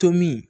Tomin